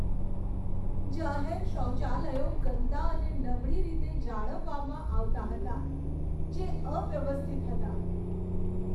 જાહેર શૌચાલયો ગંદા અને નબળી રીતે જાળવવામાં આવતા હતા, જે અવ્યવસ્થિત હતા.